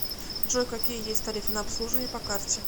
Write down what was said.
джой какие есть тарифы на обслуживание по карте